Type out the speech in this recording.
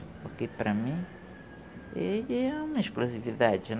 Porque, para mim, ele é uma explosividade.